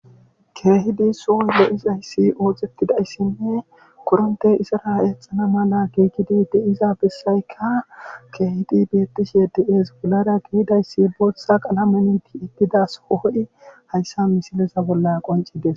Keehidi soo lo'idi oosetidayssinne korrinthe izara eexana mala giigizi de'iza bessayka keehidi beetishe de'ees. bollara dizaysi bootha qalamen tiyetida sohoy hayssa misileta bolla qonccidees.